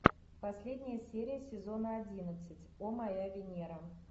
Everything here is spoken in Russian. последняя серия сезона одиннадцать о моя венера